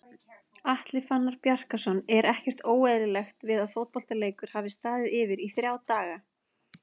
Atli Fannar Bjarkason Er ekkert óeðlilegt við að fótboltaleikur hafi staðið yfir í ÞRJÁ DAGA??